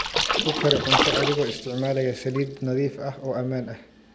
Ku kari cunto adigoo isticmaalaya saliid nadiif ah oo ammaan ah.